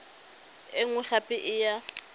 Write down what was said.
e nngwe gape e ya